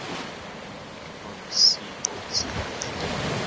von siebold's collection